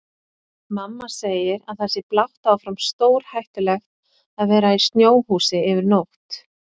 Mamma segir að það sé blátt áfram stórhættulegt að vera í snjóhúsi yfir nótt.